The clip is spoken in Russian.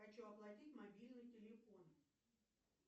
хочу оплатить мобильный телефон